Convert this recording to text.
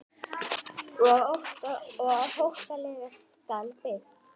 Og hótelið skal byggt.